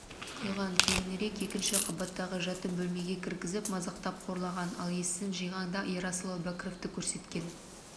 құйған кейінірек екінші қабаттағы жатын бөлмеге кіргізіп мазақтап қорлаған ал есін жиғанда ерасыл әубәкіровті көрсеткен